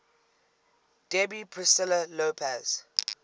debbie priscilla lopez